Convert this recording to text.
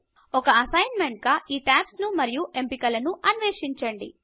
ఒక అసైన్మెంట్గా ఈ టాబ్స్ ను మరియు ఎంపికలను అన్వేషించండి